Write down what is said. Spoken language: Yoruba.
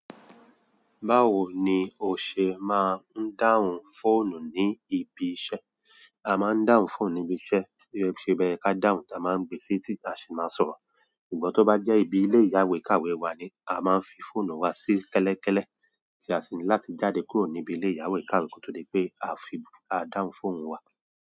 Báwo ni o ṣe máa ń dáhùn fóònù ní ibi iṣẹ́? A máa ń dáhùn fóònù ní ibi iṣẹ́, bo se ye ká dáhùn tí a máa ń gbé sí ibi tí a sì máa sọ̀rọ̀. Ṣùgbọ́n tó bá jẹ́ ibi ilé ìyáwèékàwé wa ni a máa ń fi fóònù wa sí kẹ́lẹ́kẹ́lẹ́ tí a sì ńláti jáde kúrò níbi ilé ìyáwèékàwé kí ó tó dé pé a fi dáhùn fóònù wa.